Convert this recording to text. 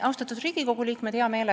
Austatud Riigikogu liikmed!